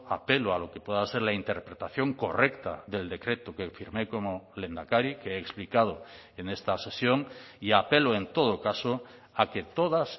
apelo a lo que pueda ser la interpretación correcta del decreto que firmé como lehendakari que he explicado en esta sesión y apelo en todo caso a que todas